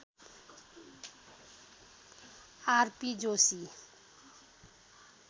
RP Joshi